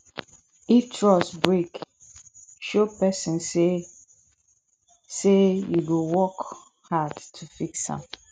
if trust break show pesin say say yu go work hard to fix am